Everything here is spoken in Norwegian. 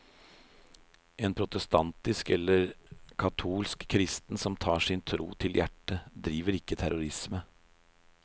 En protestantisk eller katolsk kristen som tar sin tro til hjertet, driver ikke terrorisme.